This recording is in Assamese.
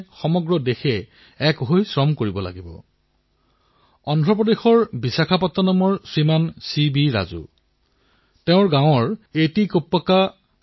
বন্ধুসকল সেইদৰে এতিয়া কম্পিউটাৰ আৰু স্মাৰ্টফোনৰ এই যুগত কম্পিউটাৰ গেমছৰো চাহিদা অধিক হৈছে